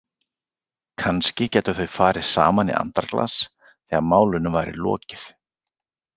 Kannski gætu þau farið saman í andaglas þegar málinu væri lokið.